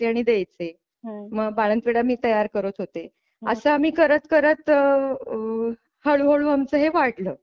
आणि द्यायचे मग बाळंतविडा मी तयार करत होते असं आम्ही करत करत अ हळूहळू आमचं हे वाढलं.